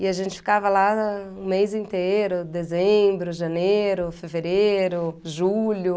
E a gente ficava lá o mês inteiro, dezembro, janeiro, fevereiro, julho.